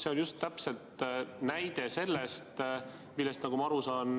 See on täpselt näide selle kohta, millest, nagu ma aru saan,